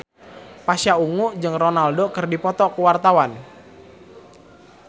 Pasha Ungu jeung Ronaldo keur dipoto ku wartawan